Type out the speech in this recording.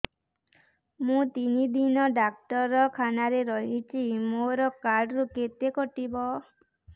ମୁଁ ତିନି ଦିନ ଡାକ୍ତର ଖାନାରେ ରହିଛି ମୋର କାର୍ଡ ରୁ କେତେ କଟିବ